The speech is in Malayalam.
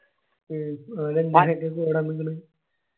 വേറെന്തിങ്കില്